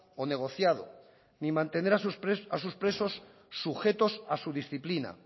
o negociado ni mantener a sus presos sujetos a su disciplina